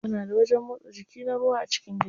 Muna da wajen motsa jiki na ruwa a cikin gida.